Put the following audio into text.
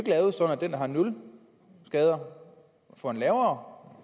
den der har nul skader får en lavere